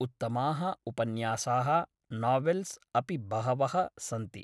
उत्तमाः उपन्यासाः नावेल्स् अपि बहवः सन्ति ।